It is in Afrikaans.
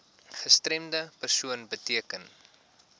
gestremde persoon beteken